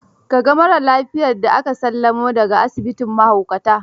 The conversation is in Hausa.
Ka ga marar lafiyar da aka sallamo da ga asibitin mahaukatan?